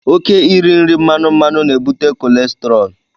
Oké iri nri mmanụ mmanụ na-ebute kolesterọlụ.